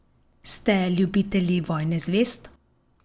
Ste ljubitelji Vojne zvezd?